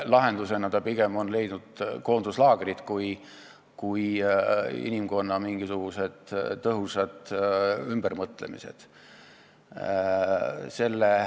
Lahenduseks on ta pigem leidnud koonduslaagrid, mitte inimkonna tõhusad ümbermõtlemised.